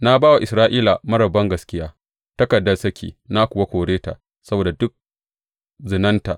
Na ba wa Isra’ila marar bangaskiya takardar saki na kuwa kore ta saboda duk zinanta.